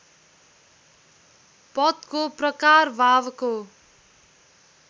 पदको प्रकार भावको